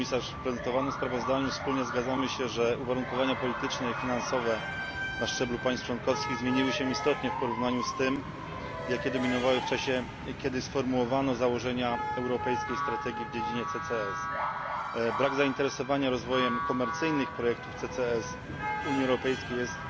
W prezentowanym sprawozdaniu wspólnie zgadzamy się, że uwarunkowania polityczne i finansowe na szczeblu państw członkowskich zmieniły się istotnie w porównaniu z tym, jakie dominowały w czasie, kiedy sformułowano założenia europejskiej strategii w dziedzinie CCS. Brak zainteresowania rozwojem komercyjnych projektów CCS w Unii Europejskiej jest